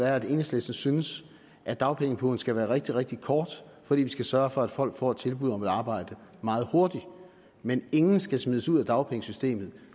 er at enhedslisten synes at dagpengeperioden skal være rigtig rigtig kort fordi vi skal sørge for at folk får et tilbud om et arbejde meget hurtigt men ingen skal smides ud af dagpengesystemet